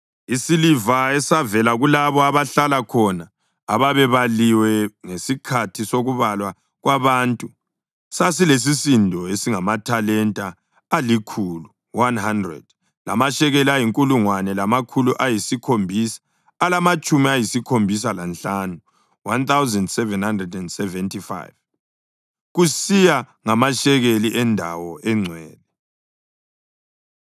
Isiliva esavela kulabo abahlala khona ababebaliwe ngesikhathi sokubalwa kwabantu sasilesisindo esingamathalenta alikhulu (100) lamashekeli ayinkulungwane lamakhulu ayisikhombisa alamatshumi ayisikhombisa lanhlanu (1,775), kusiya ngamashekeli endawo engcwele,